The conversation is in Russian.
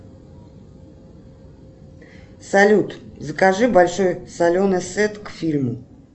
салют закажи большой соленый сет к фильму